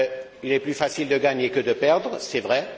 Il est plus facile de gagner que de perdre, c'est vrai.